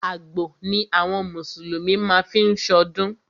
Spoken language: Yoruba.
Àgbò ni àwọn mùsùlùmí má ń fí ṣọdún.